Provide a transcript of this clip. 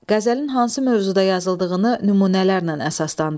Qəzəlin hansı mövzuda yazıldığını nümunələrlə əsaslandırın.